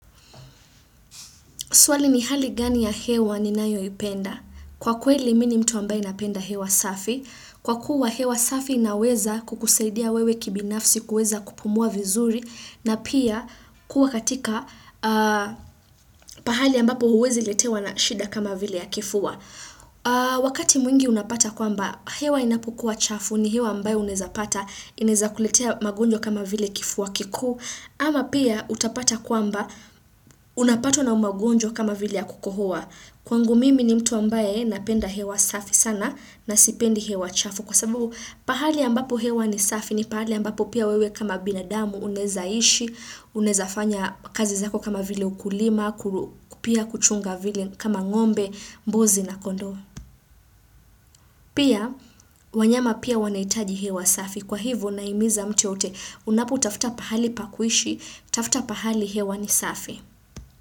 Swali ni hali gani ya hewa ninayo ipenda. Kwa kweli mimi ni mtu ambaye napenda hewa safi. Kwa kuwa hewa safi inaweza kukusaidia wewe kibinafsi kuweza kupumua vizuri. Na pia kuwa katika pahali ambapo huwezi letewa na shida kama vile ya kifua. Wakati mwingi unapata kwamba hewa inapokuwa chafu ni hewa ambayo unaweza pata. Inaweza kukuletea magonjwa kama vile kifua kikuu. Ama pia utapata kwamba unapatwa na magonjwa kama vile ya kukohoa. Kwangu mimi ni mtu ambaye napenda hewa safi sana na sipendi hewa chafu. Kwa sababu, pahali ambapo hewa ni safi ni pahali ambapo pia wewe kama binadamu unaweza ishi, unawezafanya kazi zako kama vile ukulima, pia kuchunga vile kama ngombe, mbuzi na kondoo. Pia, wanyama pia wanahitaji hewa safi. Kwa hivyo nahimiza mtu yoyote, unapotafuta pahali pa kuishi, tafuta pahali hewa ni safi.